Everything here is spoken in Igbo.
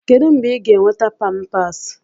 Kedu mgbe ị ga-enweta Pampasi?